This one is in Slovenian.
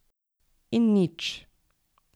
In nič.